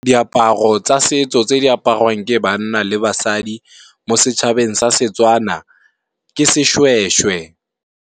Diaparo tsa setso tse di aparwang ke banna le basadi mo setšhabeng sa Setswana, ke seshweshwe.